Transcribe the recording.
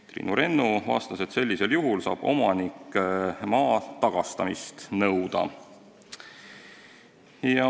Triinu Rennu vastas, et sellisel juhul saab omanik maa tagastamist nõuda.